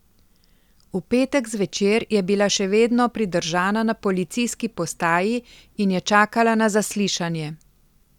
V petek zvečer je bila še vedno pridržana na policijski postaji in je čakala na zaslišanje.